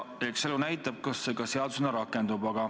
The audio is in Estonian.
Eks elu näitab, kas see ka seadusena rakendub.